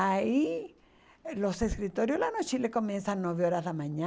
Aí, os escritórios lá no Chile começam às nove horas da manhã.